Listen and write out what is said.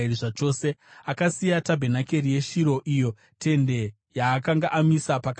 Akasiya tabhenakeri yeShiro, iyo tende yaakanga amisa pakati pavanhu.